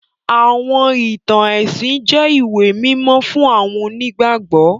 Àwọn ìtàn ẹ̀sìn jẹ ìwé mímó fun àwọn onígbàgbọ́.